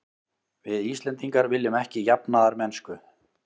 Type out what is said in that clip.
Við Íslendingar viljum ekki jafnaðarmennsku.